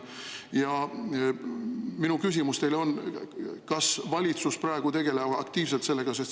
Ja minu küsimus teile on: kas valitsus praegu tegeleb aktiivselt sellega?